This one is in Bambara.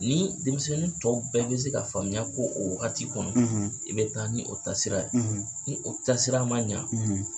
Ni denmisɛnnin tɔw bɛɛ bɛ se ka faamuya k'o o wagati kɔnɔ, , i bɛ taa ni o taasira ye, , ni o tasira ma ɲa,